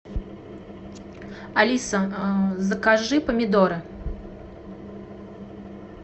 алиса закажи помидоры